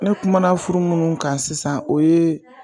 Ne kuma furu munnu kan sisan o ye